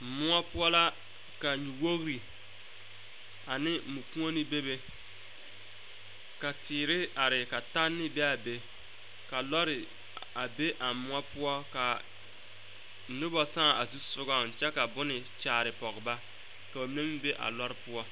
Moɔ poɔ la ka nyuwogre ane mɔkuoni bebe ka teere are ka taŋne be a be ka lɔre a be a moɔ poɔ ka noba saa a zu sogaŋ kyɛ ka bonne kyaare pɔge ba ka ba mine meŋ be a lɔre poɔ.